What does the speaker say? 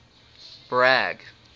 bragg